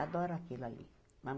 Adoro aquilo ali.